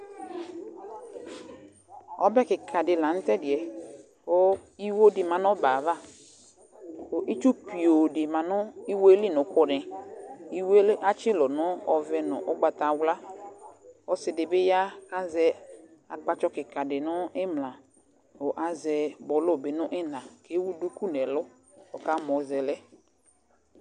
ɔbɛ keka di lantɛdiɛ ko iwo di ma no ɔbɛ ava ko itsu pio di ma no iwoe li no òkò ni iwuo atsi ulɔ no ɔvɛ no ugbata wla ɔse di bi ya ko azɛ akpatsɔ keka di no imla ko azɛ bɔlo no ina ko ewu duku no ɛlo ko ɔkamɔ zɛ lɛ